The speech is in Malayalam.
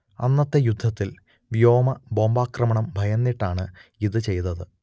അന്നത്തെ യുദ്ധത്തിൽ വ്യോമ ബോംബാക്രമണം ഭയന്നിട്ടാണ് ഇത് ചെയ്തത്